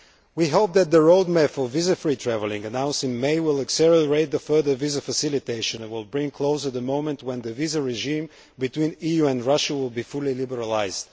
We hope that the road map for visa free travelling announced in May will accelerate further visa facilitation and will bring closer the moment when the visa regime between the EU and Russia will be fully liberalised.